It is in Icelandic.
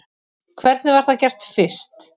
Hvernig var það gert fyrst?